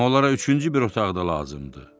Amma onlara üçüncü bir otaq da lazımdır.